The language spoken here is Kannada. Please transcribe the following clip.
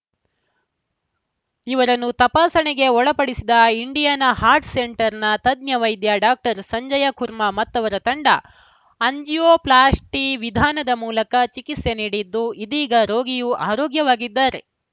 ಇವರನ್ನು ತಪಾಸಣೆಗೆ ಒಳಪಡಿಸಿದ ಇಂಡಿಯಾನಾ ಹಾರ್ಟ್‌ ಸೆಂಟರ್‌ನ ತಜ್ಞ ವೈದ್ಯ ಡಾಕ್ಟರ್ ಸಂಜಯ್‌ ಕುರ್ಮ ಮತ್ತವರ ತಂಡ ಆಂಜಿಯೋ ಪ್ಲಾಸ್ಟಿ ವಿಧಾನದ ಮೂಲಕ ಚಿಕಿತ್ಸೆ ನೀಡಿದ್ದು ಇದೀಗ ರೋಗಿಯು ಆರೋಗ್ಯವಾಗಿದ್ದಾರೆ